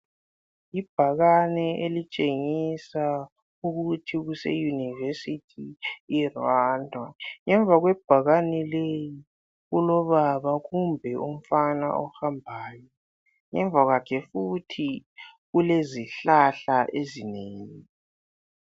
Ibhakane elitshengisa ukuthi kuseyunivesithi yeRwanda ngemva kwebhakane kulobaba kumbe umfana ohambayo ngemva kwakhe futhi lezihlahla ezinengi.